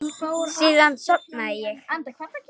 Síðan sofnaði ég.